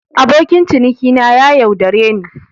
Abokin cinikina ya yaudare ni.